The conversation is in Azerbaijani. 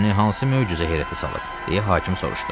Səni hansı möcüzə heyrətə salıb, deyə hakim soruştu.